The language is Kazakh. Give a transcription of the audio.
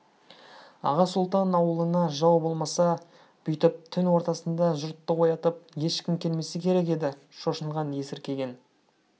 аға сұлтан ауылына жау болмаса бүйтіп түн ортасында жұртты оятып ешкім келмесе керек еді шошынған есіркеген